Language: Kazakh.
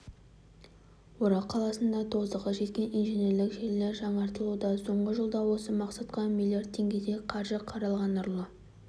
орал қаласында тозығы жеткен инженерлік желілер жаңартылуда соңғы жылда осы мақсатқа млрд теңгедей қаржы қаралған нұрлы